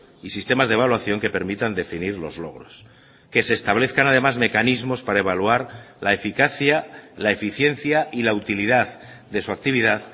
y sistemas de evaluación que permitan definir los logros que se establezcan además mecanismos para evaluar la eficacia la eficiencia y la utilidad de su actividad